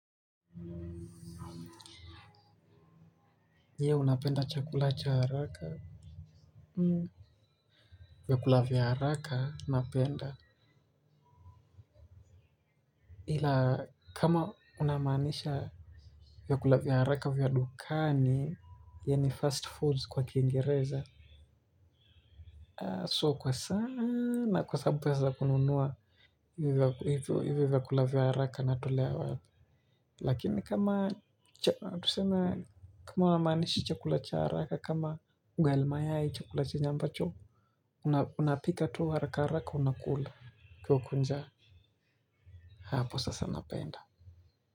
Je unapenda chakula cha haraka. Vyakula vya haraka napenda. Ila kama unamanisha vyakula vya haraka vya dukani yanip fast foods kwa kiingireza. Sio kwa sana kwa sababu pesa za kununua hivyo hivyo hivyo kula vya haraka natolea wapi lakini kama tuseme kama haumaanishi chakula cha haraka kama ugali mayai chakula chenye ambacho unapika tu haraka haraka unakula kwa kaa uko nja hapo sasa napenda.